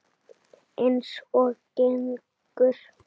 Eins og gengur.